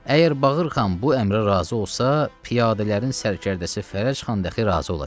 Əgər Bağırxan bu əmrə razı olsa, piyadələrin sərkərdəsi Fərəc xan dəxi razı olacaq.